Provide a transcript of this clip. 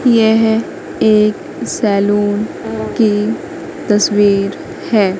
यह एक सैलून की तस्वीर है।